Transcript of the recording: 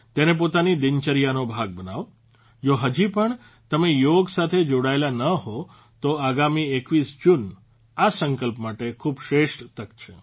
તેને પોતાની દિનચર્યાનો ભાગ બનાવો જો હજી પણ તમે યોગ સાથે જોડાયેલા ન હો તો આગામી 21 જૂન આ સંકલ્પ માટે ખૂબ શ્રેષ્ઠ તક છે